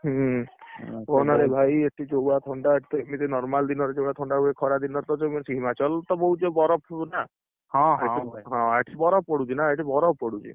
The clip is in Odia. ହୁଁ, କୁହନା ରେ ଭାଇ ଏଠି ଯୋଉଭଳିଆ ଥଣ୍ଡା ଏଠି ତ ଏମତି normal ଦିନରେ ଯୋଉଭଳିଆ ଥଣ୍ଡା ହୁଏ ଖରା ଦିନରେ ହିମାଚଳ ତ ବହୁତ ବରଫ ନା, ହଁ, ଏଠି ବରଫ ପଡୁଛି ନା ଏଠି ବରଫ ପଡୁଛି।